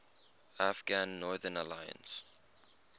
afghan northern alliance